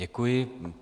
Děkuji.